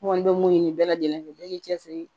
N kɔni bɛ mun ɲini bɛɛ lajɛlen fɛ bɛɛ k'i cɛ siri